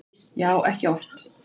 Já, ekki oft